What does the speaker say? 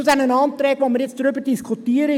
Zu den Anträgen, über die wir nun sprechen: